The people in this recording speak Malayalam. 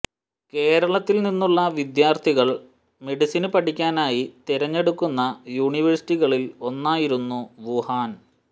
കേരളത്തിൽ നിന്നുള്ള വിദ്യാർത്ഥികൾ മെഡിസിന് പഠിക്കാനായി തെരഞ്ഞെടുക്കുന്ന യൂണിവേഴ്സിറ്റികളിൽ ഒന്നായിരുന്നു വുഹാൻ